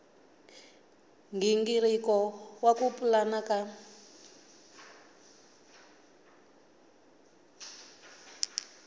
nghingiriko wa ku pulana ka